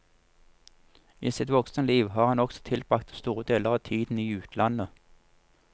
I sitt voksne liv har han også tilbrakt store deler av tiden i utlandet.